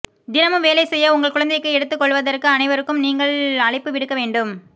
தினமும் வேலை செய்ய உங்கள் குழந்தைக்கு எடுத்துக்கொள்வதற்கு அனைவருக்கும் நீங்கள் அழைப்பு விடுக்க வேண்டும்